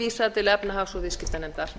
vísað til efnahags og viðskiptanefndar